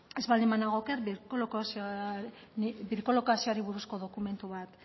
ez baldin banago oker birkolokazioari buruzko dokumentu bat